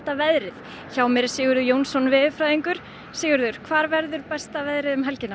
veðrið hjá mér er Sigurður Jónsson veðurfræðingur Sigurður hvar verður besta veðrið um helgina